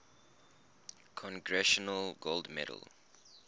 congressional gold medal